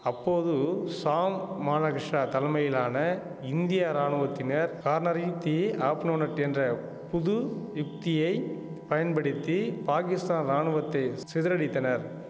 அப்போது ஷாம் மானகிஷா தலைமையிலான இந்திய ராணுவத்தினர் கார்னரி தி ஆப்னோனன்ட் என்ற புது யுக்தியை பயன்படுத்தி பாகிஸ்தான் ராணுவத்தை சிதறடித்தனர்